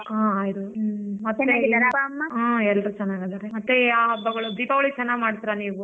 ಹಾ ಆಯ್ತು ಹ್ಮ ಹು ಎಲ್ಲರೂ ಚೆನ್ನಾಗಿದಾರ ಮತ್ತೆ ಯಾವ್ ಹಬ್ಬಗಳು ದೀಪಾವಳಿ ಚೆನ್ನಾಗ್ ಮಾಡ್ತಿರಾ ನೀವೂ.